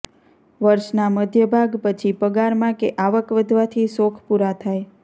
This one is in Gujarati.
વર્ષના મધ્ય ભાગ પછી પગારમાં કે આવક વધવાથી શોખ પૂરા થાય